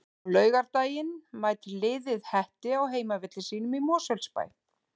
Á laugardaginn mætir liðið Hetti á heimavelli sínum í Mosfellsbæ.